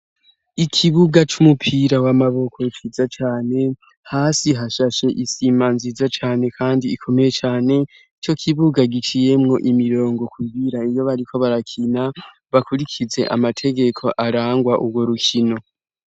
Ikibuga c'umupira w'amaboko ciza cane hasi hashashe isima nziza cane kandi ikomeye cane ico kibuga giciyemwo imirongo kugira iyo bariko barakina bakurikize amategeko arangwa ugwo rukino.